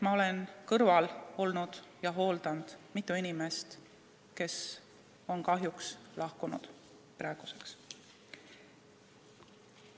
Ma olen olnud mitme inimese kõrval ja hooldanud mitut inimest, kes on kahjuks praeguseks lahkunud.